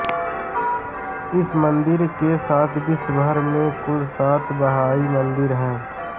इस मंदिर के साथ विश्वभर में कुल सात बहाई मंदिर है